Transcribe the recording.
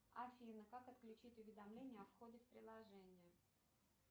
афина как отключить уведомление о входе в приложение